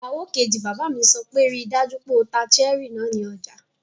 Ìyàwó kejì bàbá mi sọ pé 'ríi dájú pé o ta cherry náà ní ọjà!